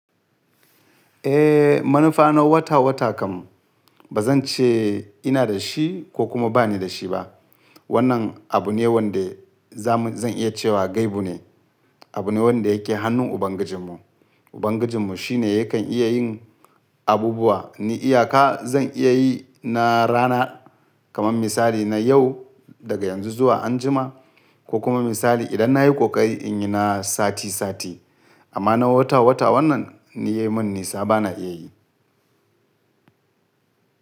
Eh, manufa na wata wata kam ba zan ce ina da shi ko kuma ba ni da shi ba. Wannan abu ne wanda za zan iya cewa gaibu ne, abu ne wanda yake hannun Ubangijinmu. Ubangijinmu shi ne ya kan iya yin abubuwa ni iyaka zan iya yi na rana kamar misali na yau daga yanzu zuwa anjima ko kuma misali idan na yi kokari in yi na sati sati. Amma na wata wata wannan ni ya yi min nisa ba na iya yi.